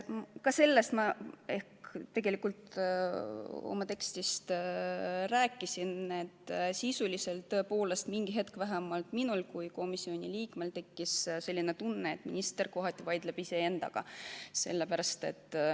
Ka sellest ma tegelikult juba rääkisin, et sisuliselt tõepoolest mingi hetk vähemalt minul kui komisjoni liikmel tekkis tunne, et minister kohati vaidleb iseendaga.